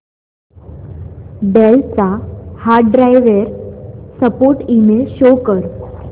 del चा hardware support email show कर